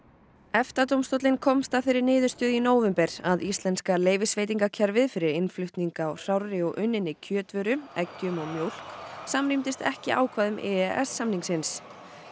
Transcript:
EFTA dómstóllinn komst að þeirri niðurstöðu í nóvember að íslenska leyfisveitingakerfið fyrir innflutning á hrárri og unninni kjötvöru eggjum og mjólk samrýmdist ekki ákvæðum e e s samningsins